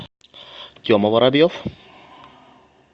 тема воробьев